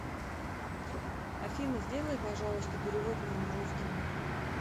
афина сделай пожалуйста перевод моему родственнику